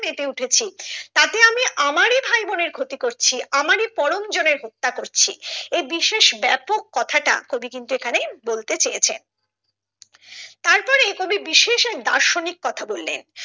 মেতে উঠেছি তাতে আমি আমারই ভাইবোনের ক্ষতি করছি আমরাই পরম জনের হত্যা করছি এই বিশেষ ব্যাপক কথাটা কবি কিন্তু এখানে বোল্টই চেয়েছেন তারপরে কবি বিশেষ এক দার্শনিক কথা বললেন।